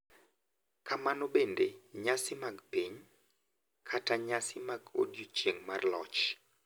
Kamano bende, nyasi mag piny, kaka nyasi mag Odiechieng’ mar Loch,